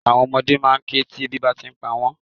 Àwon ọmọdé máa n ké ti ebi abá ti n pa wón